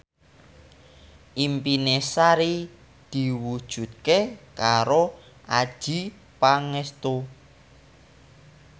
impine Sari diwujudke karo Adjie Pangestu